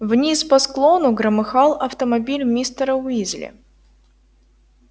вниз по склону громыхал автомобиль мистера уизли